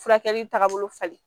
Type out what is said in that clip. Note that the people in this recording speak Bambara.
Furakɛli tagabolo falen